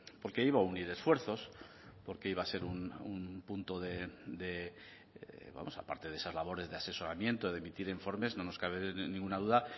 porque iba a unir esfuerzos porque iba a ser un punto de vamos aparte de esas labores de asesoramiento de emitir informes no nos cabe ninguna duda